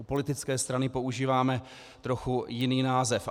U politické strany používáme trochu jiný název.